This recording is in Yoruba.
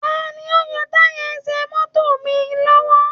Ta ni ó ń yọ tayà ẹsẹ̀ mọ́tò lọ́wọ́